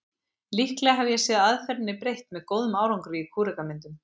Líklega hef ég séð aðferðinni beitt með góðum árangri í kúrekamyndum.